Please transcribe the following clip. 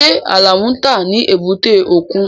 Ṣé Alamu ń tà ní èbúté òkun?